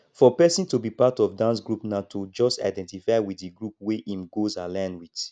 for person to be part of dance group na to just identify with di group wey im goals align with